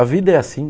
A vida é assim.